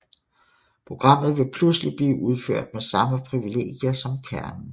Programmet vil pludselig blive udført med samme privilegier som kernen